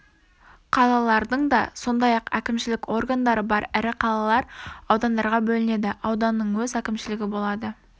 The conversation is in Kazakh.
қалалардың да сондай-ақ әкімшілік органдары бар ірі қалалар аудандарға бөлінеді ауданның өз әкімшілігі болады